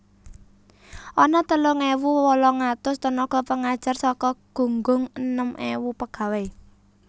Ana telung ewu wolung atus tenaga pengajar saka gunggung enem ewu pegawai